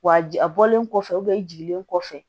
Wa a bɔlen kɔfɛ jigini kɔfɛ